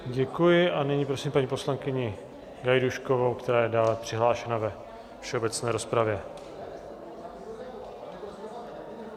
Děkuji a nyní prosím paní poslankyni Gajdůškovou, která je dále přihlášena ve všeobecné rozpravě.